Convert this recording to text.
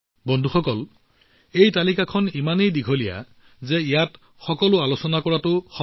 বন্ধুসকল এই তালিকাখন ইমান দীঘল যে ইয়াত সেই সকলোবোৰ আলোচনা কৰাটো কঠিন